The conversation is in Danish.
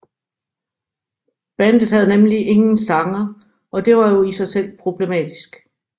Bandet havde nemlig ingen sanger og det var jo i sig selv problematisk